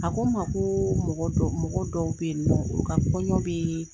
A ko ma ko mɔgɔ dɔw bɛ yen nɔ u ka kɔɲɔ bɛ yen